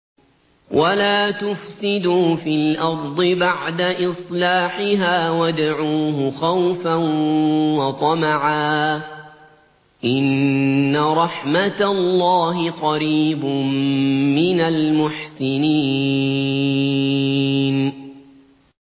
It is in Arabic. وَلَا تُفْسِدُوا فِي الْأَرْضِ بَعْدَ إِصْلَاحِهَا وَادْعُوهُ خَوْفًا وَطَمَعًا ۚ إِنَّ رَحْمَتَ اللَّهِ قَرِيبٌ مِّنَ الْمُحْسِنِينَ